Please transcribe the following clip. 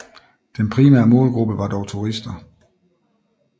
Den primære målgruppe var dog turister